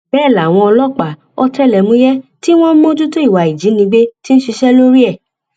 bẹẹ làwọn ọlọpàá ọtẹlẹmúyẹ tí wọn ń mójútó ìwà ìjínigbé ti ń ṣiṣẹ lórí ẹ